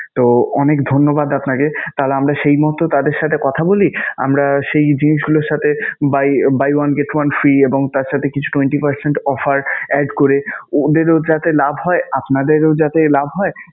তো অনেক ধন্যবাদ আপনাকে. তাহলে আমরা সেই মত তাদের সাথে কথা বলি. আমরা সেই জিনিসগুলোর সাথে buy~ buy one get one free এবং তার সাথে কিছু twenty percent offer add করে অন্যেরও যাতে লাভ হয়, আপনাদেরও যাতে লাভ হয়